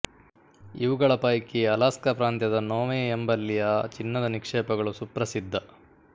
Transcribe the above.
ಇವುಗಳ ಪೈಕಿ ಅಲಾಸ್ಕ ಪ್ರಾಂತ್ಯದ ನೊವೆ ಎಂಬಲ್ಲಿಯ ಚಿನ್ನದ ನಿಕ್ಷೇಪಗಳು ಸುಪ್ರಸಿದ್ಧ